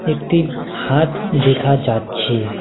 একটি হাত দেখা যাচ্ছে।